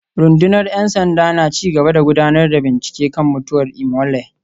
Rundunar ‘yan sanda na ci gaba da gudanar da bincike kan mutuwar Imole